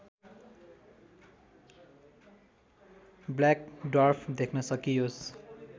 black dwarf देख्न सकियोस्